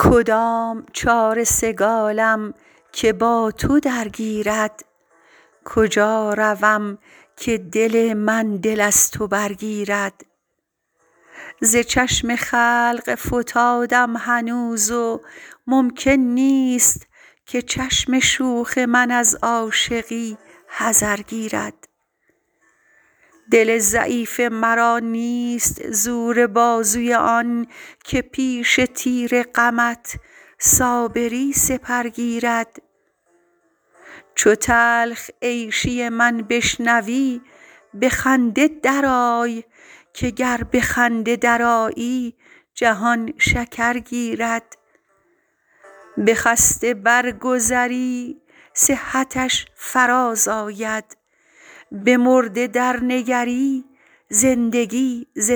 کدام چاره سگالم که با تو درگیرد کجا روم که دل من دل از تو برگیرد ز چشم خلق فتادم هنوز و ممکن نیست که چشم شوخ من از عاشقی حذر گیرد دل ضعیف مرا نیست زور بازوی آن که پیش تیر غمت صابری سپر گیرد چو تلخ عیشی من بشنوی به خنده درآی که گر به خنده درآیی جهان شکر گیرد به خسته برگذری صحتش فرازآید به مرده درنگری زندگی ز